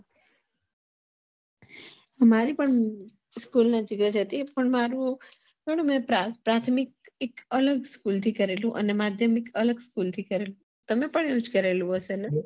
મારે પણ school નજીક જ હતી પણ મારું પણ પ્રાથમિક એક અલગ school થી કરેલું અને માધ્યમિક અલગ school થી કરેલું તમે પણ એવું જ કરેલું હશે ને